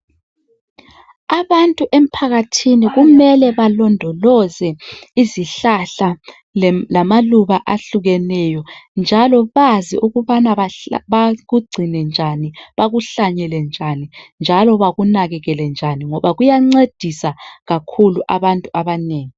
Abantu emphakathini kumele balondoloze izihlahla lamaluba ahlukehlukeneyo njalo bazi ukubana bakugcine njani bakuhlanyele njani njalo bakunakekele njani ngoba kuyancedisa kakhulu abantu abanengi.